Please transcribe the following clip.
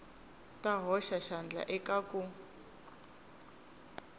ta hoxa xandla eka ku